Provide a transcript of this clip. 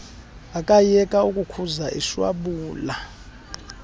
akayeka ukukhuza eshwabula